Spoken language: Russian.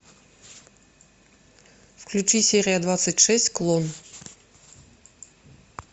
включи серия двадцать шесть клон